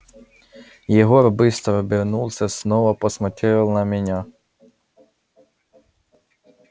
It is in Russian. егор быстро обернулся снова посмотрел на меня